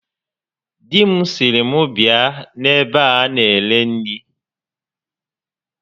Di m sịrị m bịa n'ebe a na-ere nri